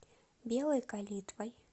белой калитвой